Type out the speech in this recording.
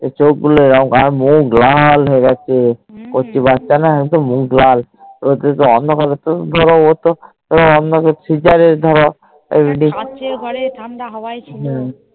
চোখ গুলো এরম আর মুখ লাখ হয়েছে কচি বাচ্চা না একদম মুখ লাল হয়েগেছে ওটাতো অন্য কারোর যে সিজার এর বাঁচা